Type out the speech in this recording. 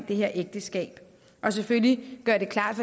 det her ægteskab og selvfølgelig gøre det klart